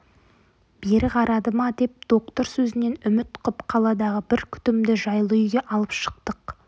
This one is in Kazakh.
бері қарады ма деп доктор сөзінен үміт қып қаладағы бір күтімді жайлы үйге алып шықтық